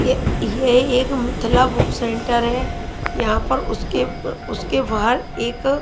यह एक Mithila book centre है यहां पर उसके उसके बाहर एक--